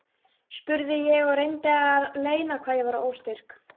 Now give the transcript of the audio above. spurði ég og reyndi að leyna hvað ég var óstyrk.